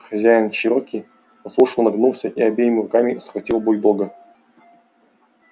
хозяин чероки послушно нагнулся и обеими руками схватил бульдога